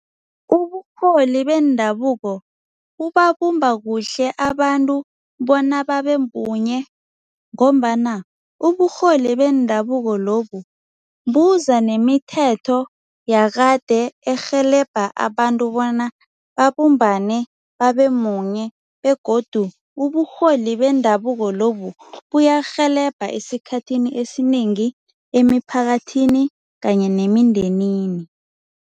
Uburholi bendabuko bubabumba kuhle abantu bona babe munye ngombana uburholi bendabuko lobu buza nemithetho yakade erhelebha abantu bona babumbane babe munye begodu uburholi bendabuko lobu buyarhelebha esikhathini esinengi emiphakathini kanye nemindenini.